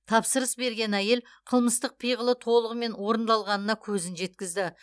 тапсырыс берген әйел қылмыстық пиғылы толығымен орындалғанына көзін жеткізді